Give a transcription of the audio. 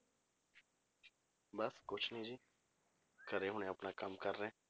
ਬਸ ਕੁਛ ਨੀ ਜੀ, ਘਰੇ ਹੁਣੇ ਆਪਣਾ ਕੰਮ ਕਰ ਰਿਹਾਂ।